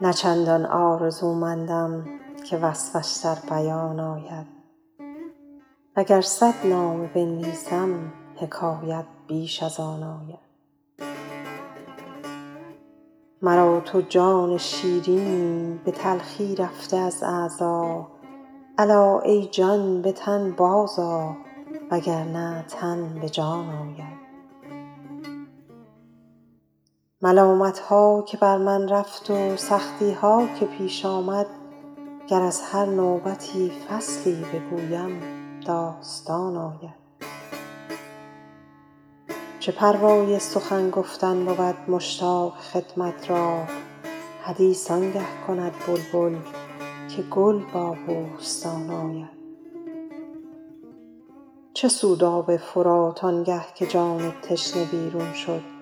نه چندان آرزومندم که وصفش در بیان آید و گر صد نامه بنویسم حکایت بیش از آن آید مرا تو جان شیرینی به تلخی رفته از اعضا الا ای جان به تن بازآ و گر نه تن به جان آید ملامت ها که بر من رفت و سختی ها که پیش آمد گر از هر نوبتی فصلی بگویم داستان آید چه پروای سخن گفتن بود مشتاق خدمت را حدیث آن گه کند بلبل که گل با بوستان آید چه سود آب فرات آن گه که جان تشنه بیرون شد